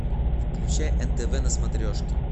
включай нтв на смотрешке